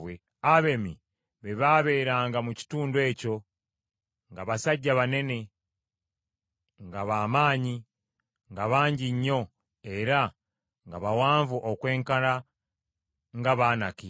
Abemi be baabeeranga mu kitundu ekyo, nga basajja banene, nga ba maanyi, nga bangi nnyo, era nga bawanvu okwenkana nga Abanaki.